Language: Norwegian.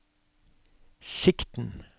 sikten